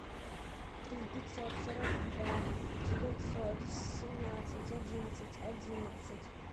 три пятьсот сорок два девятьсот семнадцать одиннадцать одиннадцать